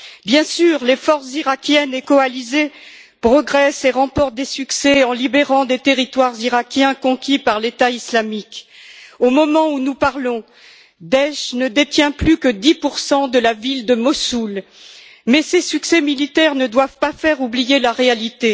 Bien sûr, les forces iraquiennes et coalisées progressent et remportent des succès en libérant des territoires iraquiens conquis par le groupe État islamique au moment où nous parlons, Daech ne détient plus que 10 de de la ville de Mossoul mais ces succès militaires ne doivent pas faire oublier la réalité.